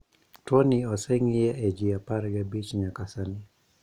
Tuo ni oseng'iye e jii apar gabich nyaka sani